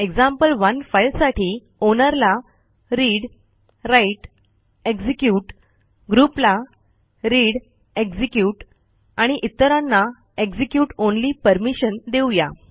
example one फाईलसाठी owner ला read write execute groupला readएक्झिक्युट आणि इतरांना execute ऑनली परमिशन देऊ या